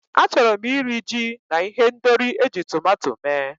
Achọrọ m iri, ji na ihendori eji tọmatọ mee.